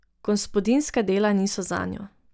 Gospodinjska dela niso zanjo.